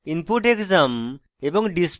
average input _ exam